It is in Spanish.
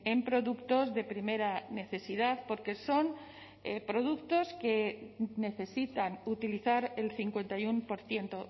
en productos de primera necesidad porque son productos que necesitan utilizar el cincuenta y uno por ciento